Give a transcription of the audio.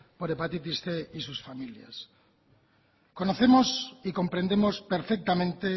por hepatitis cien y sus familias conocemos y comprendemos perfectamente